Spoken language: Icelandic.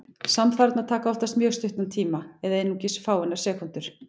Samfarirnar taka oftast mjög stuttan tíma, eða einungis fáeinar sekúndur.